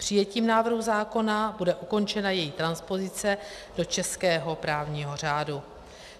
Přijetím návrhu zákona bude ukončena její transpozice do českého právního řádu.